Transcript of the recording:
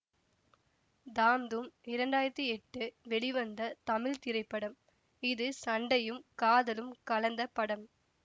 தாம் தூம் இரண்டாயிரத்தி எட்டு வெளிவந்த தமிழ் திரைப்படம் இது சண்டையும் காதலும் கலந்த படம்